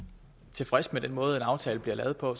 tilfreds med den måde en aftale bliver lavet på